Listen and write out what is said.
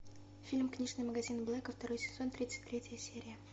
фильм книжный магазин блэка второй сезон тридцать третья серия